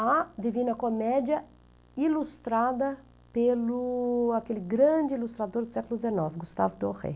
A divina comédia ilustrada pelo... aquele grande ilustrador do século dezenove, Gustave Doré.